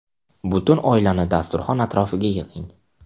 Butun oilani dasturxon atrofiga yig‘ing.